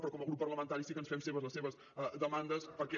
però com a grup parlamentari sí que ens fem nostres les seves demandes perquè